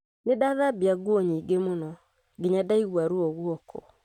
Nĩ ndathambia nguo nyingĩ mũno nginya ngĩigua ruo guoko